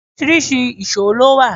Oríṣiríṣi ìṣó ló wà.